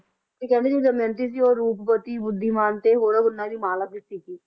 ਤੇ ਕਹਿੰਦੇ ਜਿਹੜੇ ਦਮਿਅੰਤੀ ਸੀ ਰੂਪਵਤੀ ਬੁੱਧੀਮਾਨ ਅਤੇ ਹੋਰਾਂ ਫੁੱਲਾਂ ਦੀ ਮਾਲਾ ਵੀ ਸੀ ਗੀ